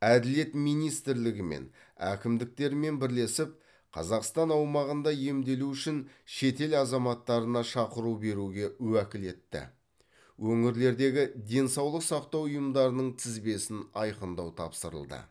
әділет министрлігімен әкімдіктермен бірлесіп қазақстан аумағында емделу үшін шетел азаматтарына шақыру беруге уәкілетті өңірлердегі денсаулық сақтау ұйымдарының тізбесін айқындау тапсырылды